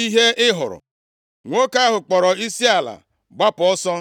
ihe ị hụrụ.” Nwoke ahụ kpọrọ isiala, gbapụ ọsọ.